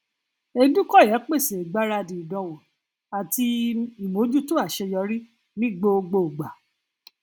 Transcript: edukoya pèsè ìgbáradì ìdánwò àti um ìmójútó aṣeyọrí ní gbogbo gbà